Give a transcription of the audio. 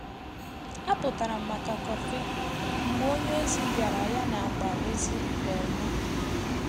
A pụtara m maka kofi mgbe ònye ozi biara ya na akpa ozi um m.